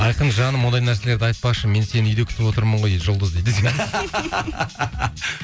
айқын жаным ондай нәрселерді айтпашы мен сені үйде күтіп отырмын ғой дейді жұлдыз дейді десем